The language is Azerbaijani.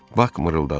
Bak mırıldadı.